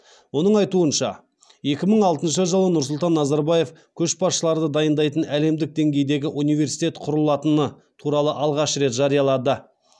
оның айтуынша екі мың алтыншы жылы нұрсұлтан назарбаев көшбасшыларды дайындайтын әлемдік деңгейдегі университет құрылатыны туралы алғаш рет жариялады